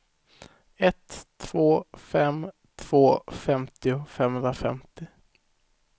ett två fem två femtio femhundrafemtio